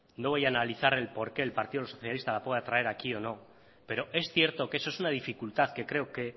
no voy a analizar por qué el partido socialista la pueda traer aquí o no pero es cierto que eso es una dificultad que creo que